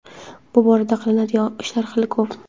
bu borada qilinadigan ishlar hali ko‘p.